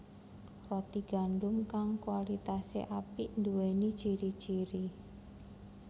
Roti gandum kang kualitasé apik nduwéni ciri ciri